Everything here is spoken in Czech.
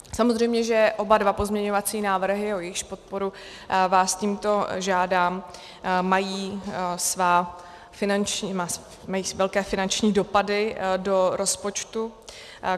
Samozřejmě že oba dva pozměňovací návrhy, o jejichž podporu vás tímto žádám, mají velké finanční dopady do rozpočtu.